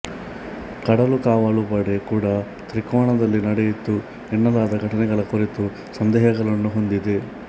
ಕಡಲು ಕಾವಲು ಪಡೆ ಕೂಡಾ ತ್ರಿಕೋಣದಲ್ಲಿ ನಡೆಯಿತು ಎನ್ನಲಾದ ಘಟನೆಗಳ ಕುರಿತು ಸಂದೇಹಗಳನ್ನು ಹೊಂದಿದೆ